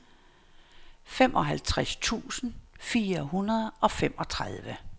femoghalvtreds tusind fire hundrede og femogtredive